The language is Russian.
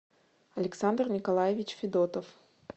александр николаевич федотов